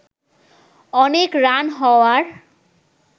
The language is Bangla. অনেক রান হওয়ার